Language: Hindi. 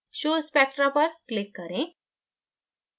show spectra पर click करें